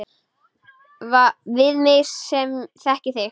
Við mig sem þekki þig.